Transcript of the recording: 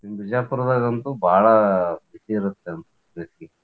ಇನ್ ಬಿಜಾಪುರದಾಗ್ ಅಂತೂ ಬಾಳ ಬಿಸಿಲ್ ಇರತ್ತ್ ಅಂತ್ ಅನ್ಸ್ ತೈತಿ.